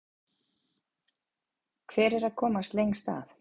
Hver er að komast lengst að?